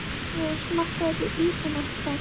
Sigríður: Smakkaðir þú ísinn, Ásta?